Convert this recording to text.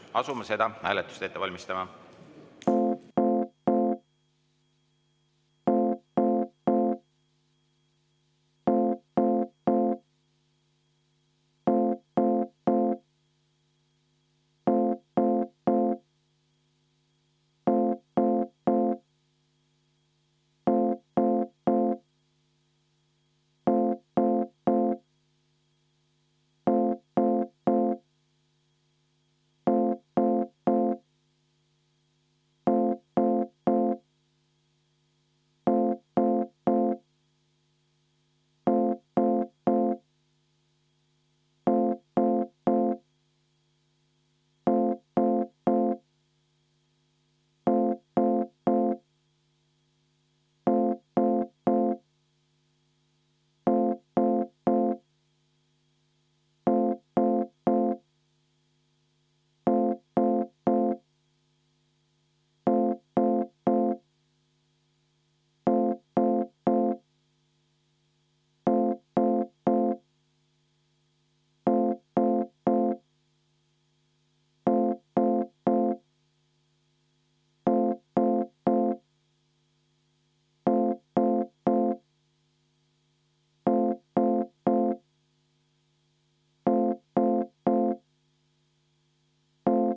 Asume seda hääletust ette valmistama.